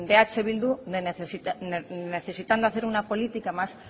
eh bildu de necesitar necesitando hacer una política más